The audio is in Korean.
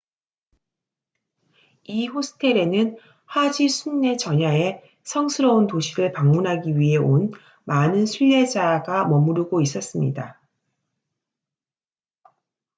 이 호스텔에는 하지 순례 전야에 성스러운 도시를 방문하기 위해 온 많은 순례자가 머무르고 있었습니다